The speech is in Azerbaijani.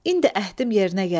İndi əhdim yerinə gəlib.